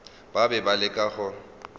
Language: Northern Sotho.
ba be ba leka go